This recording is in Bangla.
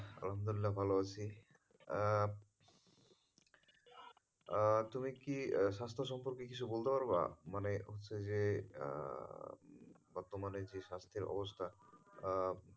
আলহামদুলিল্লাহ, ভালো আছি। আহ তুমি কি স্বাস্থ্য সম্পর্কে কিছু বলতে পারবা? মানে হচ্ছে যে, আহ বর্তমানে যে স্বাস্থ্যের অবস্থা আহ